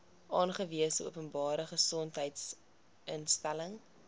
aangewese openbare gesondheidsinstelling